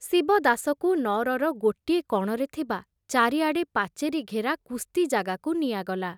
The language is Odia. ଶିବଦାସକୁ ନଅରର ଗୋଟିଏ କଣରେ ଥିବା ଚାରିଆଡ଼େ ପାଚେରୀ ଘେରା କୁସ୍ତି ଜାଗାକୁ ନିଆଗଲା।